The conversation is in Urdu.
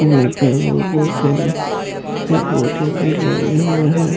یہ جو بھوت بہت سارے لگے ہوئے ہے۔